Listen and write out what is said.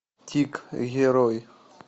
тик герой